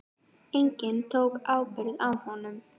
Enginn tók ábyrgð á honum.